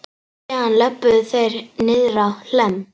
Síðan löbbuðu þeir niðrá Hlemm.